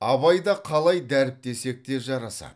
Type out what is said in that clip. абай да қалай дәріптесек те жарасады